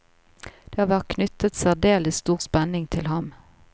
Det har vært knyttet særdeles stor spenning til ham.